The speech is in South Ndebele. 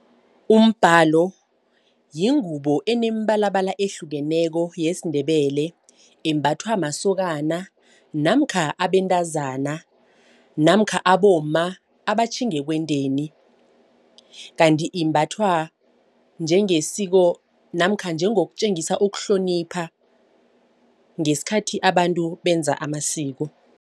Umbhalo yingubo eneembalabala ehlukeneko yesiNdebele embathwa masokana namkha abentazana namkha abomma abatjhatjhinga ekwendeni. Kanti imbathwa njengesiko namkha njengokutjengisa ukuhlonipha ngesikhathi abantu benza amasiko.